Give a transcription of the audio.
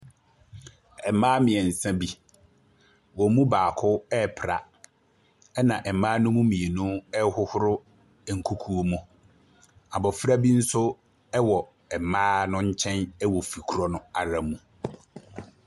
Mmaa mmiɛnsa bi, wɔn mu baako ɛrepra na mmaa ne mu mmienu ɛrehohoro nkukuo mu. Abɔfra bi nso wɔ mmaa ne nkyɛn wɔ gi korɔ no ara mu.